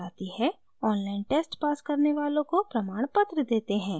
online test pass करने वालों को प्रमाणपत्र देते हैं